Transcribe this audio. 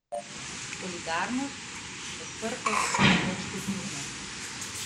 Solidarnost, odprtost, večkulturnost.